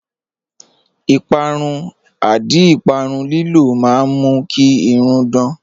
Ìpàrún/àdí ìpàrún lílò mà n mú kí irùn dán